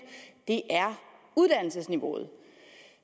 er uddannelsesniveauet